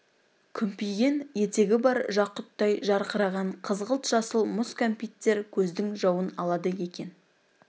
күмпиген етегі бар жақұттай жарқыраған қызғылт жасыл мұз кәмпиттер көздің жауын алады екен